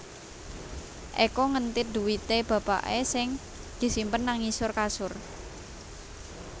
Eko ngentit dhuwite bapake sing disimpen nang ngisor kasur